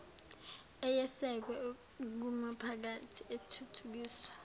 eyesekwe kumiphakathi ethuthukiswa